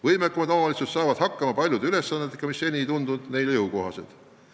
Võimekamad omavalitsused saavad hakkama paljude ülesannetega, mis seni ei tundunud neile jõukohased.